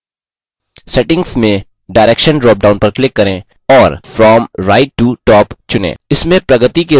settings में direction dropdown पर click करें और from right to top चुनें